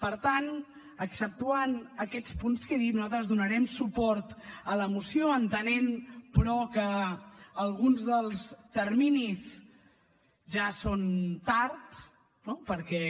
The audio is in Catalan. per tant exceptuant aquests punts que he dit nosaltres donarem suport a la moció entenent però que alguns dels terminis ja són tard no perquè